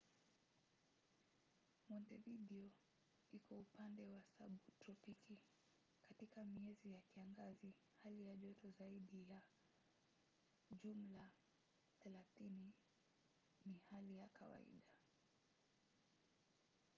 montevideo iko upande wa sabutropiki; katika miezi ya kiangazi hali ya joto zaidi ya +30ºc ni hali ya kawaida